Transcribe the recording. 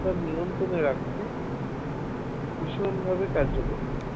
তা নিয়ন্ত্রণে রাখতে ভীষণভাবে কার্যকরী